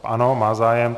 Ano, má zájem.